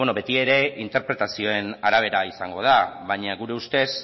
bueno beti ere interpretazioen arabera izango da baina gure ustez